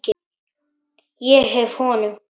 Ég gef honum